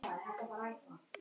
Í flestum hópunum var Kolla.